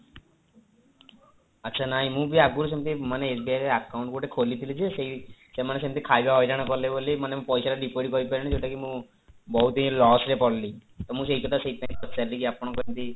ଆଚ୍ଛା ନାଇଁ ମୁଁ ବି ଆଗରୁ ସେମିତି ମାନେ SBI ରେ account kholithili ଯେ ସେମାନେ ସେମିତି ଖାଇବା ହଇରାଣ କଲେ ବୋଲି ମାନେ ମୁଁ ପଇସାଟା deposit କରିପାରିଲିନି ଯୋଉଟାକି ମୁଁ ବହୁତ ହିଁ loss ରେ ପଡିଲି ଟା ମୁଁ ସେଇ କଥା ସେଇଥିପାଇଁ ପଚାରିଲି କି ଆପଣଙ୍କର ଏମିତି